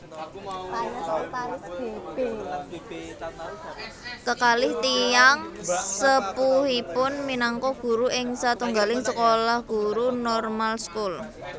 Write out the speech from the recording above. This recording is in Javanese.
Kekalih tiyang sepuhipun minangka guru ing satunggaling sekolah guru Normaalschool